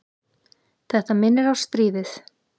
Þetta minnir á stríðið.